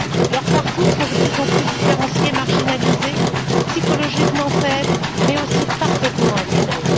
Leurs parcours sont de plus en plus différenciés, ils sont marginalisés et psychologiquement faibles, mais aussi parfaitement intégrés.